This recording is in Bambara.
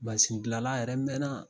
Mansindilanla yɛrɛ mɛɛnna